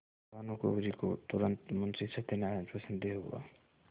भानुकुँवरि को तुरन्त मुंशी सत्यनारायण पर संदेह हुआ